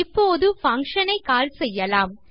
இப்போது பங்ஷன் ஐ கால் செய்லாம்